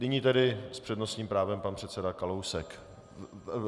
Nyní tedy s přednostním právem pan předseda Kalousek.